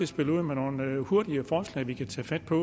spille ud med nogle hurtige forslag vi kan tage fat på